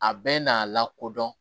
A bɛɛ n'a lakodɔn